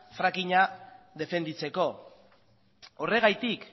fracking a defendatzeko horregatik